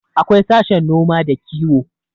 akwai sashen noma da kiwo